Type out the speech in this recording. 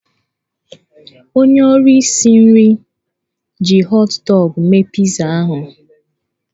Onye ọrụ isi nri ji họt dọgụ mee pitza ahụ.